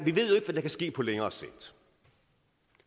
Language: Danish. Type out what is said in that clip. at vi kan ske på længere sigt